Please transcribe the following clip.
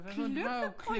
Klippegrund